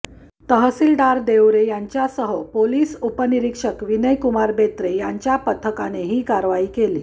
तहसीलदार देवरे यांच्यासह पोलीस उपनिरीक्षक विनायकुमार बोत्रे यांच्या पथकाने ही करवाई केली